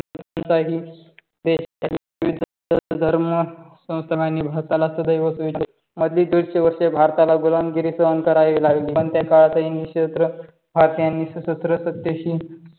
चाही देश विविध धर्म भारताला सदैव मधली दोनशे वर्षे भारताला गुलामगिरी सहन करावी लागली. पण त्या काळातही श्रीक्षेत्र भारतीयांनी सशस्त्र सत्तेशी